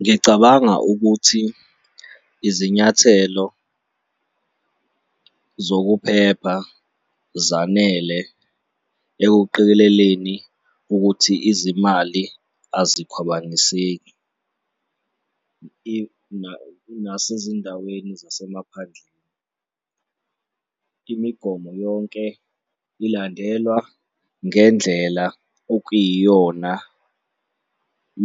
Ngicabanga ukuthi izinyathelo zokuphepha zanele ekuqikeleleni ukuthi izimali azikhwabaniseki nasezindaweni zasemaphandleni. Imigomo yonke ilandelwa ngendlela okuyiyona